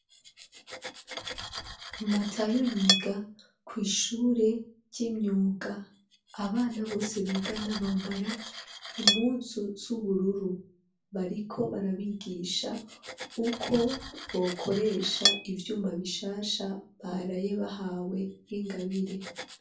Matayo yiga kw'ishure ry'imyuga abana bose bigana bambara impuzu z'ubururu bariko barabigisha uko bokoresha ivyuma bishasha baraye bahawe nk'ingabire.